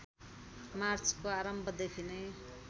मार्चको आरम्भदेखि नै